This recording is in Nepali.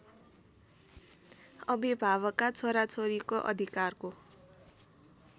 अभिभावकका छोराछोरीको अधिकारको